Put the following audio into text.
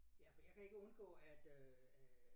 Ja for jeg kan ikke undgå at øh